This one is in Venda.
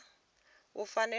u fanela u vha ene